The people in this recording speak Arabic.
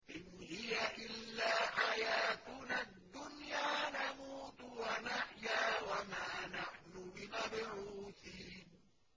إِنْ هِيَ إِلَّا حَيَاتُنَا الدُّنْيَا نَمُوتُ وَنَحْيَا وَمَا نَحْنُ بِمَبْعُوثِينَ